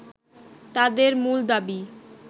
তাদের মূল দাবি